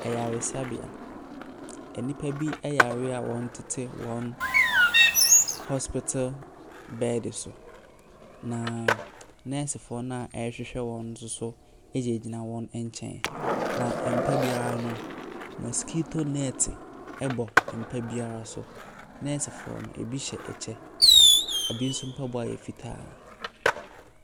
Ayaresabea. Enipa bi yare a wɔtete wɔ hospital bed so. Na nursefoɔ na ɛrehwɛhwɛ wɔn no nso gyina wɔn nkyɛn. Na ɛmpa biara no, moskito nete ɛbɔ mpa biara so. Nursefoɔ no ebi hyɛ ɛkyɛ, ebi nso mpaboa yɛ fitaa.